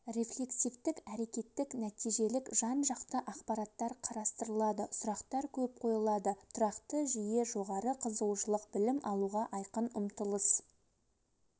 рефлексивтік- әрекеттік нәтижелік жан-жақты ақпараттар қарастырылады сұрақтар көп қойылады тұрақты жиі жоғары қызығушылық білім алуға айқын ұмтылыс